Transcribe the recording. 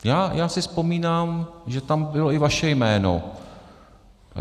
Já si vzpomínám, že tam bylo i vaše jméno.